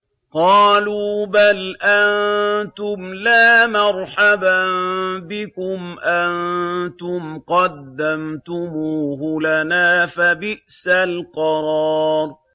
قَالُوا بَلْ أَنتُمْ لَا مَرْحَبًا بِكُمْ ۖ أَنتُمْ قَدَّمْتُمُوهُ لَنَا ۖ فَبِئْسَ الْقَرَارُ